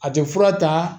A tɛ fura ta